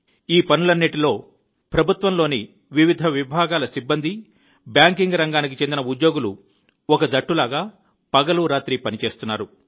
ఈ పనులన్నిటిలో ప్రభుత్వంలోని వివిధ విభాగాల సిబ్బంది బ్యాంకింగ్ రంగానికి చెందిన ఉద్యోగులు ఒక జట్టులాగా పగలు రాత్రి పని చేస్తున్నారు